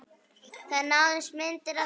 Það náðust myndir af því